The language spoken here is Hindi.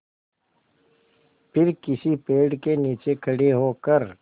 फिर किसी पेड़ के नीचे खड़े होकर